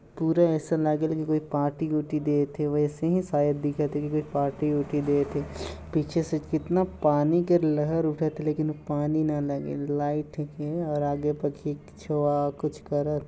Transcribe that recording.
पूरा अइसल लागेल के कोई पार्टी ऊटी देत हे वैसे ही शायद दिखत हे की कोई पार्टी ऊटी देत हे पीछे से कितना पानी के लहर उठत है लेकिन ओ पानी न लगिन लाइट हेके और आगे छोवा कुछ करत हे।